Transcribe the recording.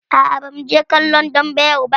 Aa, ba mu je kallon dambe yau ba